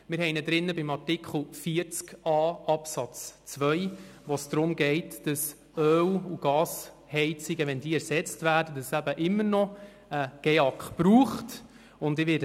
Bei Artikel 40a Absatz 2 geht es darum, dass es immer noch einen GEAK braucht, wenn Öl- und Gasheizungen ersetzt werden.